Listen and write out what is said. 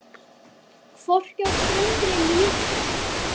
Hvorki á ströndinni né úti á sjónum.